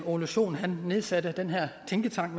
ole sohn nedsatte den her tænketank